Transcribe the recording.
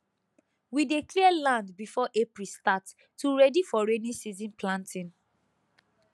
we dey clear land before april start to ready for rainy season planting